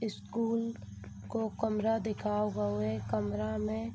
School को कमरा दिखाओ गौ है। कमरा में --